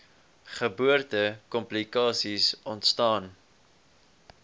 geboorte komplikasies ontstaan